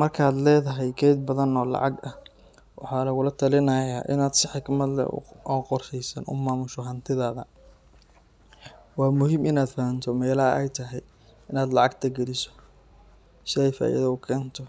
Marka aad leedahay kayd badan oo lacag ah, waxaa lagula talinayaa in aad si xikmad leh oo qorshaysan u maamusho hantidaada. Waa muhiim in aad fahamto meelaha ay tahay in aad lacagta geliso si ay faa’iido u keento,